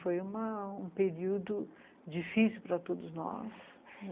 Foi uma, um período difícil para todos nós.